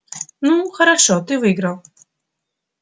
ну хорошо ты выиграл